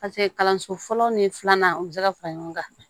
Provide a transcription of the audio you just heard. paseke kalanso fɔlɔ ni filanan u be se ka fara ɲɔgɔn kan